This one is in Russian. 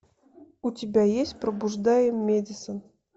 у тебя есть пробуждая мэдисон